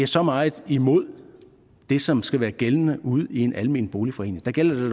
så meget imod det som skal være gældende ude i en almen boligforening der gælder